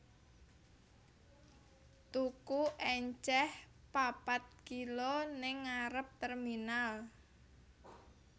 Tuku enceh papat kilo ning ngarep terminal